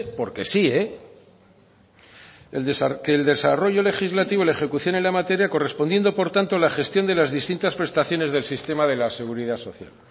porque sí que el desarrollo legislativo y la ejecución en la materia correspondiendo por tanto la gestión de las distintas prestaciones del sistema de la seguridad social